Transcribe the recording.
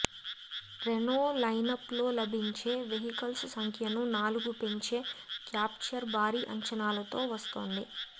Renault లైనప్లో లభించే vehicles సంఖ్యను నాలుగు పెంచే క్యాప్చర్ భారీ అంచనాలతో వస్తోంది